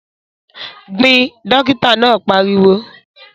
Gbìn! Dókítà náà pariwo.